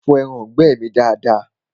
Fọ ẹraǹgbẹ́ mi dada!